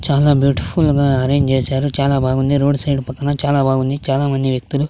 చాలా బ్యూటిఫుల్ గా అరేంజ్ చేశారు చాలా బాగుంది రోడ్ సైడ్ పక్కన చాలా బాగుంది చాలామంది వ్యక్తులు--